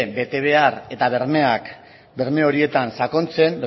betebehar eta berme horietan sakontzen